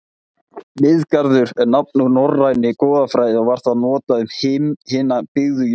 Miðgarður er nafn úr norrænni goðafræði og var það notað um hina byggðu jörð.